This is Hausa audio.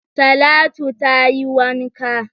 Talatu tayi wanka